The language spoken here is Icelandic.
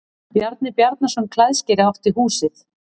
Bjarni Bjarnason klæðskeri átti húsið.